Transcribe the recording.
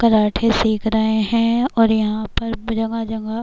karate सिख रहे हैं और यहाँ पर जगह-जगह --